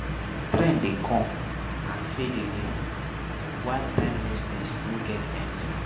Trend de come and fade away while timelessness no get end